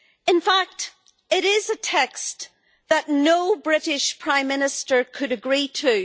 In fact it is a text that no British Prime Minister could agree to.